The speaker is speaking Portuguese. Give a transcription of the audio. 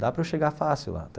Dá para eu chegar fácil lá até.